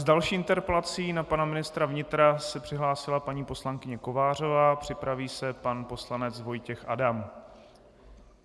S další interpelací na pana ministra vnitra se přihlásila paní poslankyně Kovářová, připraví se pan poslanec Vojtěch Adam.